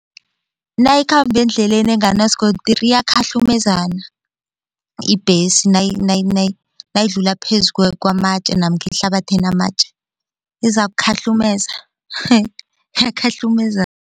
Nayikhamba endleleni enganasikontiri iyakhahlumezana ibhesi nayidlula phezu kwamatje namkha ehlabathi enamatje izakukhahlumeza iyakhahlumezana.